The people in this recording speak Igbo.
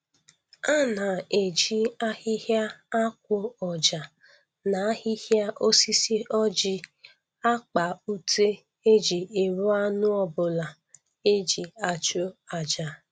A na-eji ahịhịa akwụ ọja na ahịhịa osisi ọjị akpa ute e ji ebu anụ ọbụla e ji achụ aja